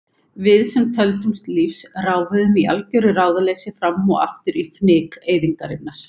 Við sem töldumst lífs ráfuðum í algjöru ráðaleysi fram og aftur í fnyk eyðingarinnar.